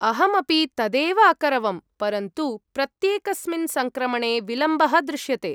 अहम् अपि तदेव अकरवं, परन्तु प्रत्येकस्मिन् सङ्क्रमणे विलम्बः दृश्यते।